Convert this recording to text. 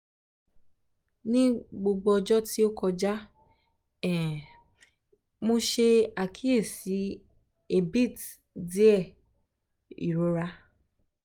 ni gbogbo ọjọ ti o kọja um mo ṣe akiyesi abit diẹ irora